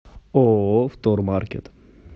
ооо втормаркет